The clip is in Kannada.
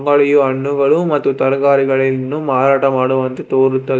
ಮಳಿಯೂ ಹಣ್ಣುಗಳು ಮತ್ತು ತರಕಾರಿಗಳಿನ್ನು ಮಾರಾಟ ಮಾಡುವಂತೆ ತೋರುತ್ತದೆ.